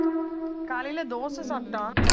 காலையில தோசை சாப்பிட்டான்